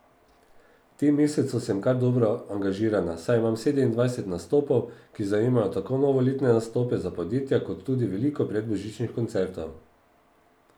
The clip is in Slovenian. V tem mesecu sem kar dobro angažirana, saj imam sedemindvajset nastopov, ki zajemajo tako novoletne nastope za podjetja kot tudi veliko predbožičnih koncertov.